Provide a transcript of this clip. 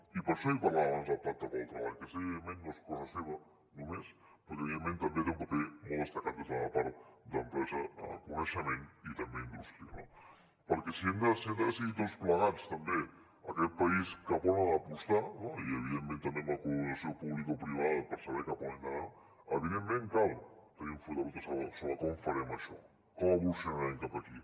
i per això li parlava abans del pacte pel treball que sé que evidentment no és cosa seva només però que evidentment també hi té un paper molt destacat des de la part d’empresa coneixement i també indústria no perquè si hem de decidir tots plegats també aquest país cap a on ha d’apostar no i evidentment també amb la col·laboració publicoprivada per saber cap a on hem d’anar cal tenir un full de ruta sobre com farem això com evolucionarem cap aquí